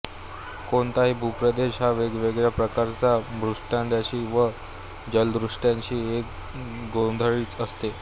कोणताही भूप्रदेश हा वेगवेगळ्या प्रकारच्या भूदृश्यांची व जलदृश्यांची एक गोधडीच असते